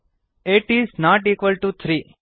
eight is not equal to three